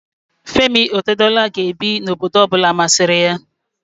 Femi Otedola ga-ebi n'obodo ọ bụla masịrị ya